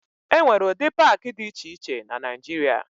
E nwere ụdị paakị dị iche iche na Naịjịrịa.